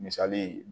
Misali